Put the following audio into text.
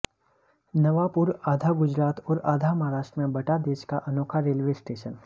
नवापुरः आधा गुजरात और आधा महाराष्ट्र में बंटा देश का अनोखा रेलवे स्टेशन